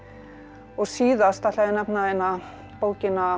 og síðast ætla ég að nefna bókina